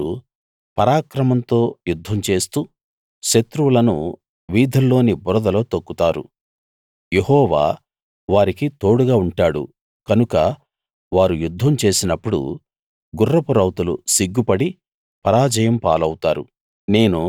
వారు పరాక్రమంతో యుద్ధం చేస్తూ శత్రువులను వీధుల్లోని బురదలో తొక్కుతారు యెహోవా వారికి తోడుగా ఉంటాడు కనుక వారు యుద్ధం చేసినప్పుడు గుర్రపు రౌతులు సిగ్గు పడి పరాజయం పాలౌతారు